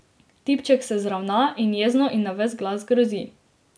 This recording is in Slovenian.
Tipček se zravna in jezno in na ves glas grozi.